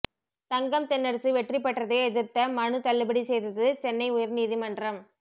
தங்கம் தென்னரசு வெற்றி பெற்றதை எதிர்த்த மனு தள்ளுபடி செய்தது சென்னை உயர்நீதிமன்றம்